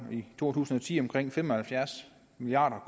i to tusind og ti omkring fem og halvfjerds milliard